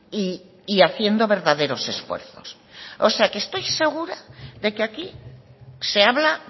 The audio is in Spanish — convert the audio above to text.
y haciendo verdaderos esfuerzos o sea que estoy segura de que aquí se habla